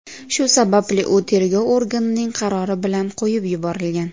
Shu sababli u tergov organining qarori bilan qo‘yib yuborilgan.